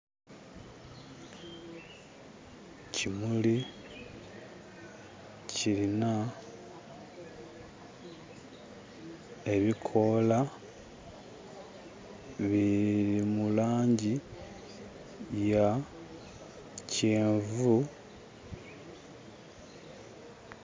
Ekimuli kilina ebikoola bili mu langi ya kyenvu.